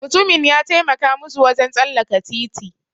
Mutumin ya taimaka musu wajen tsallaka titi.